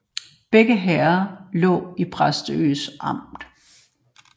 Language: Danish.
Begge herreder lå i Præstø Amt